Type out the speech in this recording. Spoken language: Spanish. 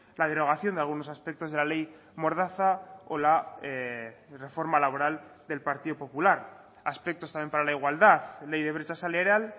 la derogación de algunos aspectos de la ley mordaza o la reforma laboral del partido popular aspectos también para la igualdad ley de brecha salarial